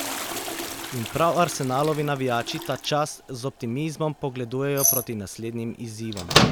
In prav Arsenalovi navijači ta čas z optimizmom pogledujejo proti naslednjim izzivom.